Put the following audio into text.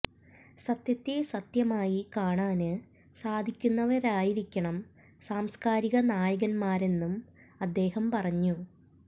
സത്യത്തെ സത്യമായി കാണാന് സാധിക്കുന്നവരായിരിക്കണം സാംസ്കാരിക നായകന്മാരെന്നും അദ്ദേഹം പറഞ്ഞു